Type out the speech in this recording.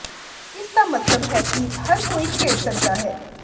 ਇਸ ਦਾ ਮਤਲਬ ਹੈ ਕਿ ਹਰ ਕੋਈ ਖੇਡ ਸਕਦਾ ਹੈ